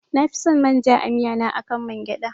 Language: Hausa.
Nafi san manja a miya na akan man gyaɗa